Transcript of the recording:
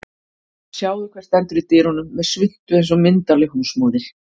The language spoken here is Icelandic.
Sjáðu hver stendur í dyrunum með svuntu eins og myndarleg húsmóðir